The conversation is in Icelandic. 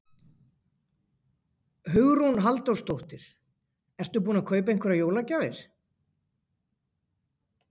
Hugrún Halldórsdóttir: Ertu búinn að kaupa einhverjar jólagjafir?